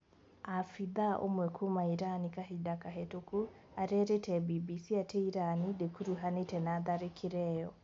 Abitha ũmwe kuuma Iran kahinda kahituku arairite BBC ati Iran ndikuruhanite na tharikira iyo.